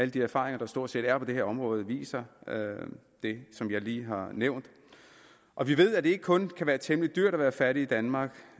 de erfaringer der stort set er på det her område viser det som jeg lige har nævnt og vi ved at det ikke kun kan være temmelig dyrt at være fattig i danmark